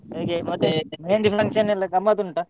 ಹೇಗೆ ಮತ್ತೆ मेहंदी function ಎಲ್ಲಾ ಗಮ್ಮತ್ ಉಂಟಾ?